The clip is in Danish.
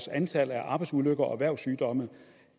og antallet af arbejdsulykker og erhvervssygdomme